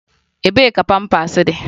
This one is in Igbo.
Ebee ka pampas dị?